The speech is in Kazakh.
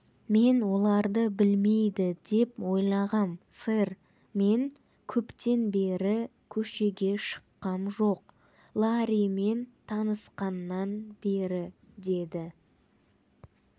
мен оларды білмейді деп ойлағам сэр мен көптен бері көшеге шыққам жоқ ларримен танысқаннан бері деді